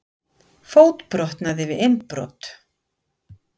Fótbrotnaði við innbrot